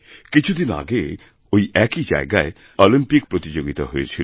কিছুদিন আগে ওই একই জায়গায় অলিম্পিক প্রতিযোগিতা হয়েছিল